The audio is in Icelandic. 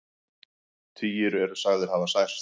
Tugir eru sagðir hafa særst